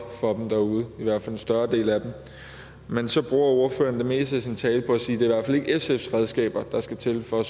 for dem derude i hvert fald for en større del af dem men så bruger ordføreren det meste af sin tale på at sige at det er sfs redskaber der skal til for at